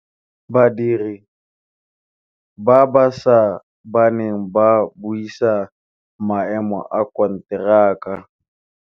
Badiri ba baša ba ne ba buisa maêmô a konteraka.